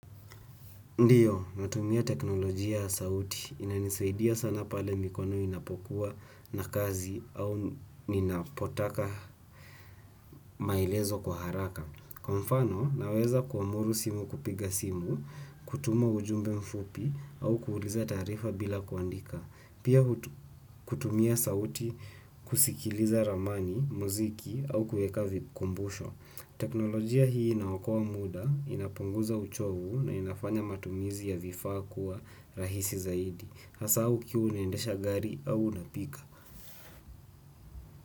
Ndiyo, natumia teknolojia ya sauti. Inanisaidia sana pale mikono inapokuwa na kazi au ninapotaka maelezo kwa haraka. Kwa mfano, naweza kuamuru simu kupiga simu, kutuma ujumbe mfupi au kuuliza taarifa bila kuandika. Pia kutumia sauti kusikiliza ramani, muziki au kueka vikumbusho. Teknolojia hii inaokoa muda, inapunguza uchovu na inafanya matumizi ya vifaa kuwa rahisi zaidi. Hasaa ukiwa unaendesha gari au unapika.